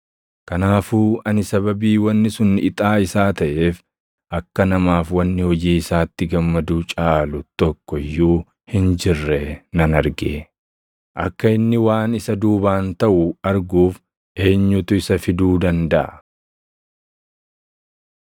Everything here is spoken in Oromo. Kanaafuu ani sababii wanni sun ixaa isaa taʼeef akka namaaf wanni hojii isaatti gammaduu caalu tokko iyyuu hin jirre nan arge. Akka inni waan isa duubaan taʼu arguuf eenyutu isa fiduu dandaʼa?